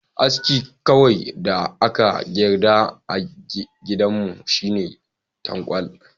Aski kawai da aka yarda a gidanmu shine tankwal.